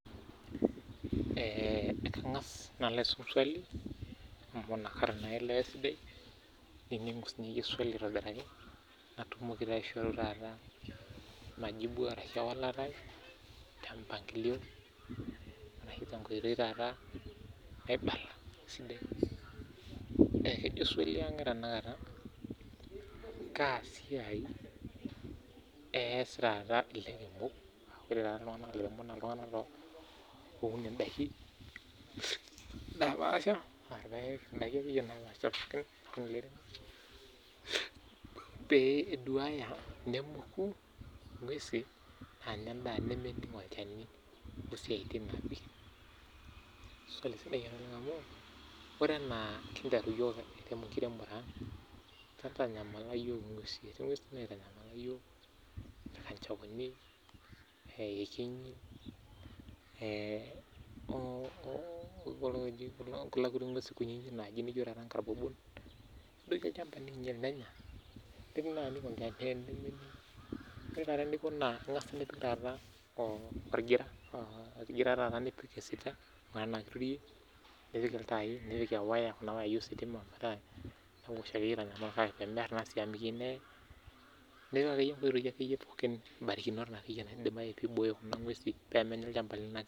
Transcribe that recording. Kang'as aisum swali paishoru ewalata ai kaa siai eas taata ilaremok loopayek pee eduaya nemoku ingwesi Ore anaa nekinteru yiok enkiremore neitanyamala yiok ingwesi aa ilkanjaoni aah iyekenyi oo nkarbobol nedoiki olchamba nenya ioik olgira enaki iturie nipik iltai wo wayai ositima metaa menya nipik inkiborikinot piibooyo ngwesi peemenya olshamba